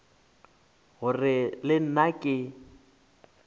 ke gore le nna ke